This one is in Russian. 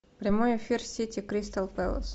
прямой эфир сити кристал пэлас